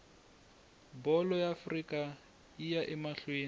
bholo ya afrika yiya amahleni